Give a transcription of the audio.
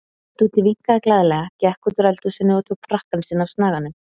Dúddi vinkaði glaðlega, gekk út úr eldhúsinu og tók frakkann sinn af snaganum.